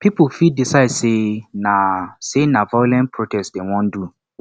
pipo fit decide say na say na violent protest dem won do